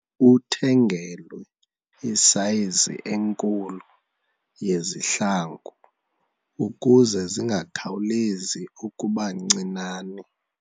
Uthengelwe isayizi enkulu yezihlangu ukuze zingakhawulezi ukuba ncinane.